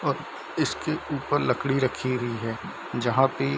और इसके ऊपर लकड़ी रखी हुई है जहाँ पे --